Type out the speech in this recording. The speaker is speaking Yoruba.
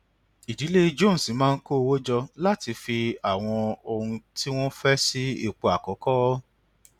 ìdílé jones máa ń kó owó jọ láti fi àwọn ohun tí wọn fẹ sí ipò àkọkọ